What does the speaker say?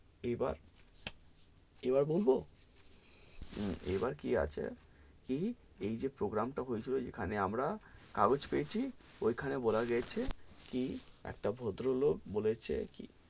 এবার এবার বলবো এবার কি আছে কি এই জে program তা হয়ে ছিল জেখানে আমরা কাগোজ পেয়েছি, ওই খানে বলা গেছে কি একটা ভদ্রলোক বলেছে কি,